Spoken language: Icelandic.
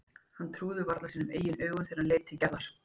Hann trúði varla sínum eigin augum þegar hann leit aftur til Gerðar.